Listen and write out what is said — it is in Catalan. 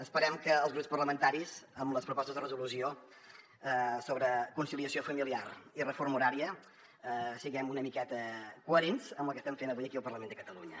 esperem que els grups parlamentaris amb les propostes de resolució sobre conciliació familiar i reforma horària siguem una miqueta coherents amb el que estem fent avui aquí al parlament de catalunya